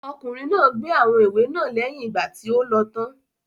Ọkùnrin náà gbé àwọn ìwé náà lẹ́yìn ìgbà tí o lọ tán.